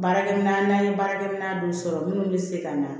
Baarakɛminɛn n'an ye baarakɛminɛn dɔw sɔrɔ minnu bɛ se ka na